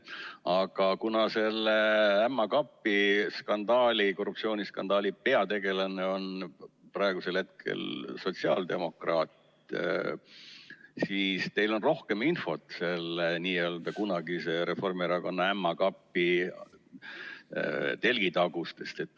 Aga kuna selle ämma kapi skandaali, korruptsiooniskandaali peategelane on praegusel hetkel sotsiaaldemokraat, siis teil on rohkem infot selle kunagise Reformierakonna ämma kapi telgitagustest.